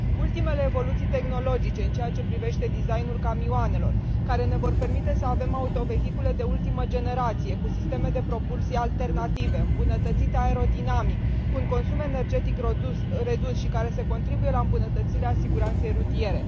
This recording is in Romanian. Ultimele evoluții tehnologice în ceea ce privește design ul camioanelor ne vor permite să avem autovehicule de ultimă generație, cu sisteme de propulsie alternative, îmbunătățite aerodinamic, cu un consum energetic redus și care contribuie la îmbunătățirea siguranței rutiere.